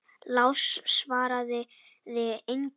Lási svaraði engu.